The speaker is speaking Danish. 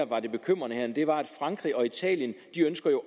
var det bekymrende her var at frankrig og italien